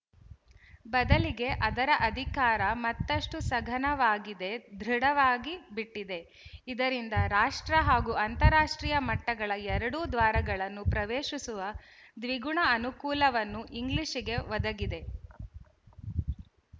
ಬದಲಿಗೆ ಅದರ ಅಧಿಕಾರ ಮತ್ತಷ್ಟು ಸಘನವಾಗಿದೆದೃಢವಾಗಿ ಬಿಟ್ಟಿದೆ ಇದರಿಂದ ರಾಷ್ಟ್ರ ಹಾಗೂ ಅಂತರರಾಷ್ಟ್ರೀಯ ಮಟ್ಟಗಳ ಎರಡೂ ದ್ವಾರಗಳನ್ನು ಪ್ರವೇಶಿಸುವ ದ್ವಿಗುಣ ಅನುಕೂಲವನ್ನು ಇಂಗ್ಲಿಶಿಗೆ ಒದಗಿದೆ